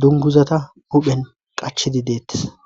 dunguzata huphen qachidi deettes